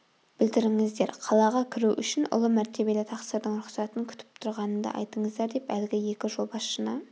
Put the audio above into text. білдіріңіздер қалаға кіру үшін ұлы мәртебелі тақсырдың рұқсатын күтіп тұрғанымды айтыңыздар деп әлгі екі жолбасшыны